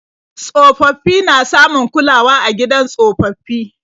Tsofaffi na samun kulawa a gidan tsofaffi.